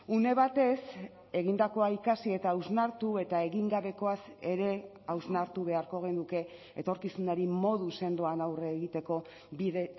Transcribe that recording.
une batez egindakoa ikasi eta hausnartu eta egin gabekoaz ere hausnartu beharko genuke etorkizunari modu sendoan aurre egiteko bide